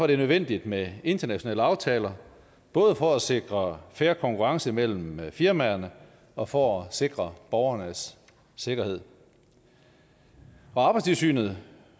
det er nødvendigt med internationale aftaler både for at sikre fair konkurrence mellem firmaerne og for at sikre borgernes sikkerhed arbejdstilsynet